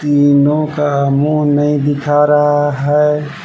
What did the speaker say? तीनों का मुंह नहीं दिखा रहा है।